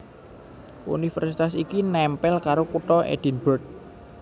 Universitas iki nèmpèl karo Kutha Edinburgh